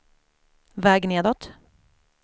väg nedåt